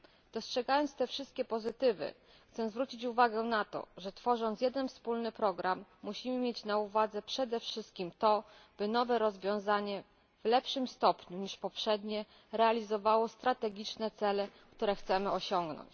Dostrzegając te wszystkie pozytywy, chciałabym zwrócić uwagę na to, że tworząc jeden wspólny program, musimy mieć na uwadze przede wszystkim to, aby nowe rozwiązanie w lepszym stopniu niż poprzednie realizowało strategiczne cele, które chcemy osiągnąć.